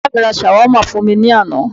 Bàbá mi ra Shawarma fún mi ní àná